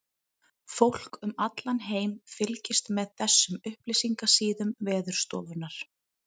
Fólk um allan heim fylgist með þessum upplýsingasíðum Veðurstofunnar.